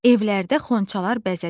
Evlərdə xonçalar bəzədilir.